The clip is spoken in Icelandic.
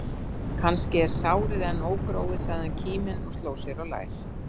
Kannski er sárið enn ógróið, sagði hann kíminn og sló sér á lær.